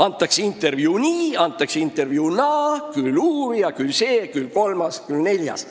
Antakse intervjuu nii, antakse intervjuu naa: küll üks uurija, küll teine, küll kolmas, küll neljas.